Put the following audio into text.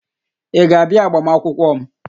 Ị ga-abịa agbamakwụkwọ m?